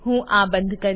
હું આ બંધ કરીશ